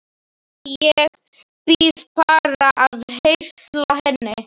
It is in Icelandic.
Æ, ég bið bara að heilsa henni